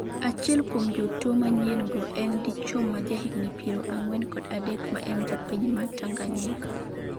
achiel kuom jotuo manyien go en dichuo ma jahigni piero nagwen kod adek ma en japiny ma Tanganyika